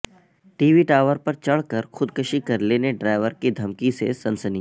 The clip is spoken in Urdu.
ٹی وی ٹاور پر چڑھ کر خود کشی کرلینے ڈرائیور کی دھمکی سے سنسنی